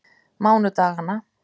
mánudaganna